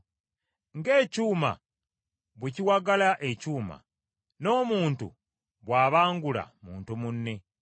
Ng’ekyuma bwe kiwagala ekyuma, n’omuntu bw’abangula muntu munne.